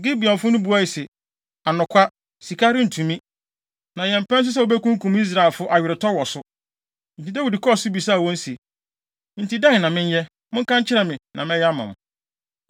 Gibeonfo no buae se, “Anokwa, sika rentumi, na yɛmpɛ nso sɛ wobekunkum Israelfo aweretɔ wɔ so.” Enti Dawid kɔɔ so bisaa wɔn se, “Enti dɛn na menyɛ? Monka nkyerɛ me, na mɛyɛ ama mo.”